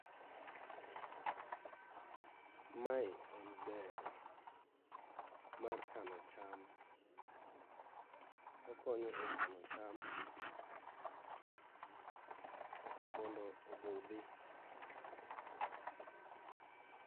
Mae en dero mar kano cham. Okonyo e kano cham mondo obudhi.